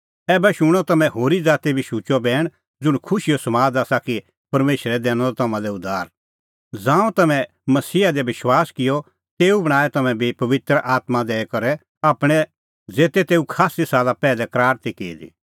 ऐबै शूणअ तम्हैं होरी ज़ाती बी शुचअ बैण ज़ुंण खुशीओ समाद आसा कि परमेशरै दैनअ तम्हां लै उद्धार ज़ांऊं तम्हैं मसीहा दी विश्वास किअ तेऊ बणांऐं तम्हैं बी पबित्र आत्मां दैई करै आपणैं ज़ेते तेऊ खास्सी साला पैहलै करार ती की दी